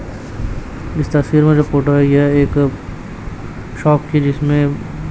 इस तस्वीर में जो फोटो है यह एक शॉप की जिसमें--